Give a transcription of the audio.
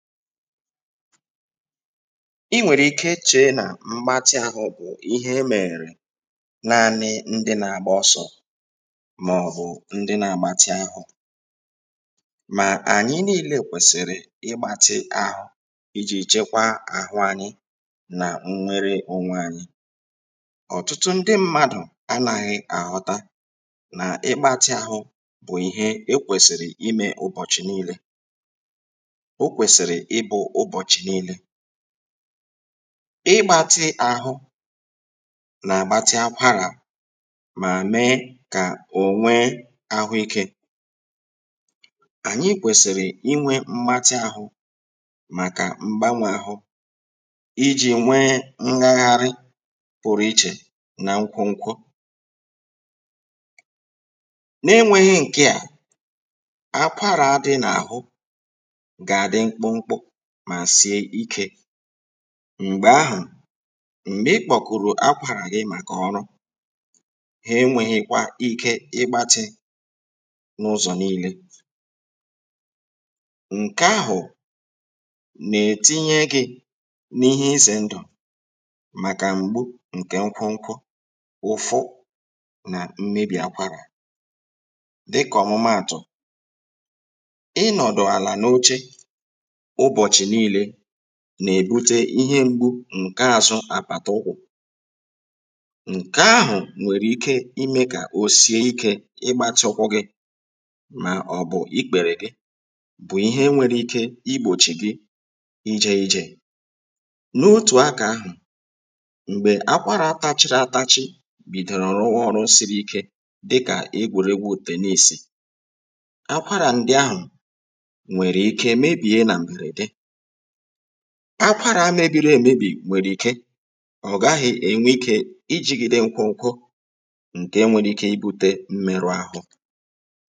Ị̀ nwèrè ike che nà mgbatị ahụ̇ bụ̀ ihe emerè naanị ndị na-agba ọsọ̇ mà ọ̀bụ̀ ndị na-agbatị ahụ̇, mà ànyị niile kwèsìrì ịgbatị ahụ iji̇ chekwa àhụ anyị nà nwere onwe anyị, ọ̀tụtụ ndị mmadụ̀ anaghị àhọta nà ịgbatị ahụ bụ̀ ihe e kwèsìrì imė ụbọ̀chị̀ niile, okwesiri ịbụ ụbọchị niile, ịgbȧti àhụ nà-àgbatị akwarà mà mee kà ònwee ahụ ikė, ànyị kwèsìrì inwė mgbatị àhụ màkà mgbanwè àhụ, ijì nwee ngagharị pụrụ ichè nà nkwu nkwu, n’enweghị ǹkè à, akwarà adị n’àhụ gá adị mkpu mkpu ma sie ike, m̀gbe ahụ̀ m̀gbè ikpò kùrù akwàrà gị màkà ọrụ, ha enwėghi̇kwa ike ịgbatị n’ụzọ̀ niile, ǹke ahụ̀ nà-ètinye gị̇ n’ihe izè ndụ̀ màkà m̀gbu ǹkè nkwunkwu, ụfụ, nà mmebì akwàrà; dịkà ọ̀mụmaàtụ̀: ịnọdụ ana n'oche ụbọchị niile nà-èbute ihe m̀gbù ǹke àzụ àpàtà ụkwụ̀, ǹke ahụ̀ nwèrè ike imė kà òsie ikė ịgbatị ụkwụ gị̇ mà ọ̀ bụ̀ ikpèrè gị, bụ̀ ihe nwere ike igbòchì gị ijė ijè, n’otù akà ahụ̀, m̀gbè akwarà atachiri atachi bìdòrò rụwa ọrụ̇ siri ike dịkà igwùrìgwu tennịsị, akwarà ndị ahụ̀ nwere ike mébie na mberede, akwarà mebiri emebi nwere ike ọ gaghị̀ enwe ike ijigide nkwu nkwu nke nwere ike ibute mmerụ ahụ.